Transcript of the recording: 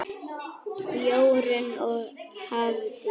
Jórunn og Hafdís.